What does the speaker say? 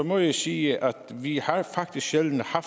må jeg sige at vi faktisk sjældent har